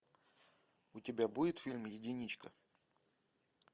у тебя будет фильм единичка